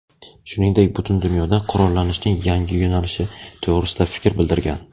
shuningdek butun dunyoda qurollanishning yangi yo‘nalishi to‘g‘risida fikr bildirgan.